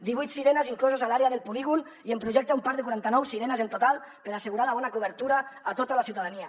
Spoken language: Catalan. divuit sirenes incloses a l’àrea del polígon i en projecte un parc de quaranta nou sirenes en total per assegurar la bona cobertura a tota la ciutadania